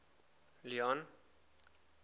leone